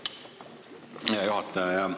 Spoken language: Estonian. Aitäh, hea juhataja!